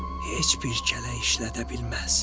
Heç bir kələk işlədə bilməz.